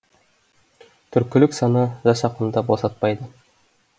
түркілік сана жас ақынды босатпайды